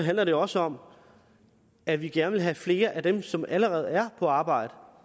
handler det også om at vi gerne vil have flere af dem som allerede er på arbejde